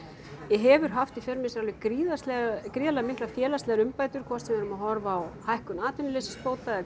hefur haft í för með sér alveg gríðarlega gríðarlega miklar félagslegar umbætur hvort sem við erum að horfa á hækkun atvinnuleysisbóta eða